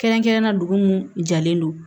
Kɛrɛnkɛrɛnnenya la dugu mun jalen don